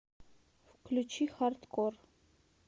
включи хардкор